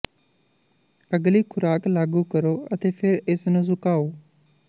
ਅਗਲੀ ਖ਼ੁਰਾਕ ਲਾਗੂ ਕਰੋ ਅਤੇ ਫਿਰ ਇਸ ਨੂੰ ਸੁਕਾਓ